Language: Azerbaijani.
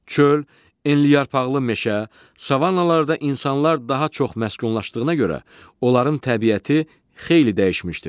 Çöl, enliyarpaqlı meşə, savannalarda insanlar daha çox məskunlaşdığına görə onların təbiəti xeyli dəyişmişdir.